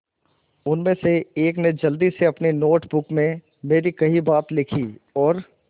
उनमें से एक ने जल्दी से अपनी नोट बुक में मेरी कही बातें लिखीं और